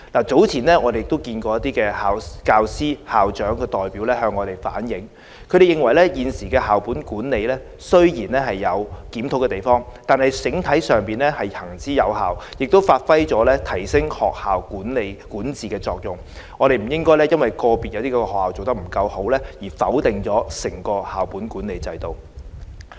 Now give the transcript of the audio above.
早前一些校長和教師代表向我們反映，他們認為現時的校本管理雖然有可以檢討的地方，但整體上行之有效，亦能發揮提升學校管治的作用，不應因為個別學校做得不夠好，而否定整個校本管理制度。